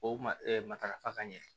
O matarafa ka ɲɛ